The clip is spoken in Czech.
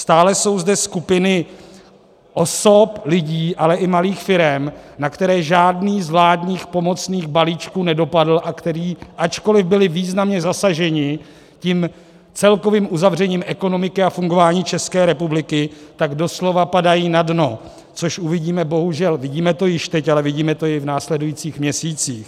Stále jsou zde skupiny osob, lidí, ale i malých firem, na které žádný z vládních pomocných balíčků nedopadl a kteří, ačkoliv byli významně zasaženi tím celkovým uzavřením ekonomiky a fungování České republiky, tak doslova padají na dno, což uvidíme bohužel, vidíme to již teď, ale vidíme to i v následujících měsících.